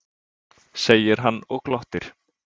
segir hann og glottir.